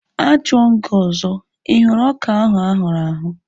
A jụọ m gị ọzọ, ị hụrụ ọka ahu ahụrụ ahụ̀?